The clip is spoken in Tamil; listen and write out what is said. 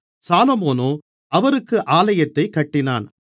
சாலொமோனோ அவருக்கு ஆலயத்தைக் கட்டினான்